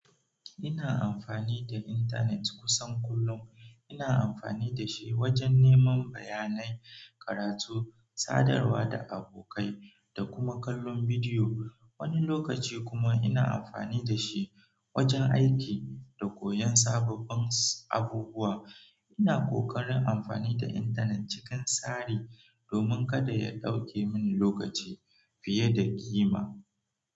Ina amfani da intanet kusan kullum. Ina amfani da shi wajen neman bayanai, karatu, sadarwa da abokai, da kuma kallon bidiyo. Wani lokaci kuma ina amfani da shi wajen aiki da koyon sababbin abubuwa. Ina ƙoƙarin amfani da intanet cikin tsari domin kada ya ɗauke mini lokaci fiye da ƙima.